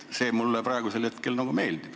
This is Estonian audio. See praegune lahendus mulle meeldib.